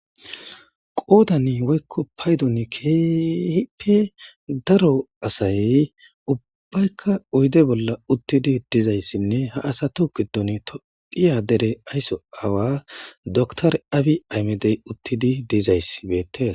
qoodani woykko paydoni kehippe daro asay ubbaykka uyde bolla uttidi dizayssinne ha asato gidon tophiya dere aysso awa doktor awi aymedey uttidi dizayss beettes